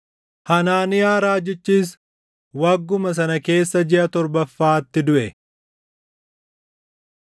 Hanaaniyaa raajichis wagguma sana keessa jiʼa torbaffaatti duʼe.